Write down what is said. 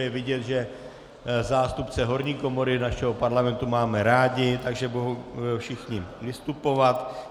Je vidět, že zástupce horní komory našeho Parlamentu máme rádi, takže budou všichni vystupovat.